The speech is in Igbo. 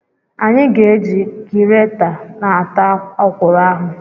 Anyị ga-eji gireta na-ata okwuru ahụ.